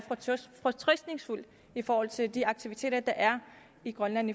fortrøstningsfulde i forhold til de aktiviteter der er i grønland